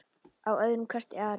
Að öðrum kosti Ari?